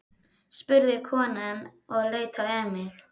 spurði konan og leit á Emil.